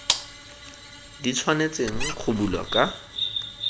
di tshwanetseng go bulwa ka